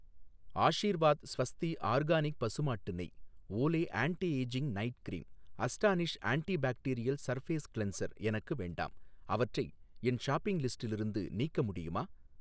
Aashirvaad Swasti organic பசுமாட்டு நெய், Olay anti ageing night cream, Astonish antibacterial surface cleanser எனக்கு வேண்டாம் அவற்றை என் ஷாப்பிங் லிஸ்டிலிருந்து நீக்க முடியுமா?